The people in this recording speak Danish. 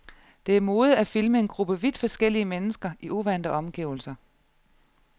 Det er mode at filme en gruppe vidt forskellige mennesker i uvante omgivelser.